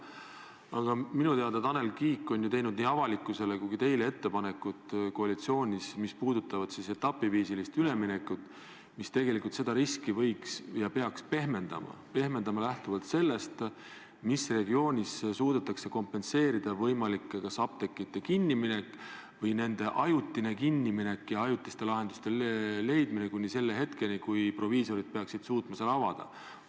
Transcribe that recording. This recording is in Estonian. Aga minu teada on Tanel Kiik teinud nii avalikkusele kui ka teile koalitsioonis ettepanekuid, mis puudutavad etapiviisilist üleminekut ning mis võiks ja peaks seda riski pehmendama, lähtuvalt sellest, millises regioonis suudetakse kompenseerida kas apteekide kinniminek või nende ajutine kinniminek ja ajutiste lahenduste leidmine kuni selle hetkeni, kui proviisorid peaksid suutma selle taas avada.